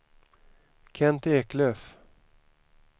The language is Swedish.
Kent Eklöf